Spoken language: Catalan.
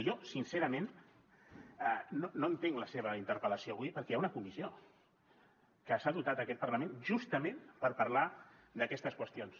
jo sincerament no entenc la seva interpel·lació avui perquè hi ha una comissió que se n’ha dotat aquest parlament justament per parlar d’aquestes qüestions